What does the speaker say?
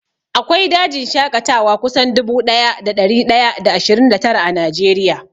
Akwai dajin shaƙatawa kusan dubu ɗaya da ɗari ɗaya da ashirin da tara a Najeriya